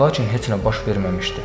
Lakin heç nə baş verməmişdi.